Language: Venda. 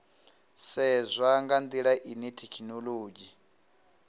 sedzwa nga ndila ine thekhinolodzhi